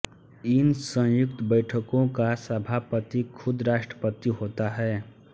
इन सयुंक्त बैठकों का सभापति खुद राष्ट्रपति होता है